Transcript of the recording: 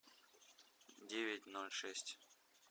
девять ноль шесть